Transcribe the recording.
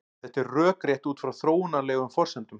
Þetta er rökrétt út frá þróunarlegum forsendum.